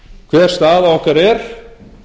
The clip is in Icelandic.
hver staða okkar er